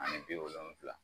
Ani wolonwula